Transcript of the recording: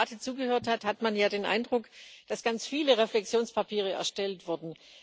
Wenn man der Debatte zugehört hat, hat man ja den Eindruck, dass ganz viele Reflexionspapiere erstellt wurden.